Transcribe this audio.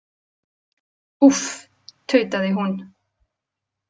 Úff, tautaði hún.